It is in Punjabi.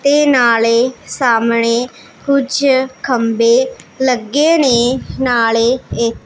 ਤੇ ਨਾਲੇ ਸਾਹਮਣੇ ਕੁਛ ਖੰਭੇ ਲੱਗੇ ਨੇ ਨਾਲੇ ਇੱਕ--